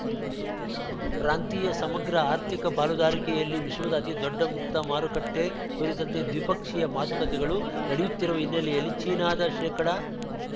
ಪ್ರಾಂತೀಯ ಸಮಗ್ರ ಆರ್ಥಿಕ ಪಾಲುದಾರಿಕೆಯಲ್ಲಿ ವಿಶ್ವದ ಅತಿ ದೊಡ್ಡ ಮುಕ್ತ ಮಾರುಕಟ್ಟೆ ಕುರಿತಂತೆ ದ್ವಿಪಕ್ಷೀಯ ಮಾತುಕತೆಗಳು ನಡೆಯುತ್ತಿರುವ ಹಿನ್ನೆಲೆಯಲ್ಲಿ ಚೀನಾದ ಶೇಕಡ